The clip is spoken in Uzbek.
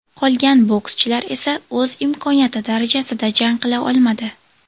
Qolgan bokschilar esa o‘z imkoniyati darajasida jang qila olmadi.